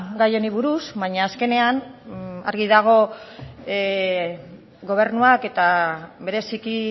gai honi buruz baina azkenean argi dago gobernuak eta bereziki